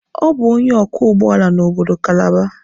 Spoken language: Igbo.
Ọ bụ onye ọkwọ ụgbọala n'obodo Kalaba.